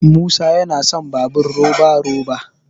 musa yana son babur roba- roba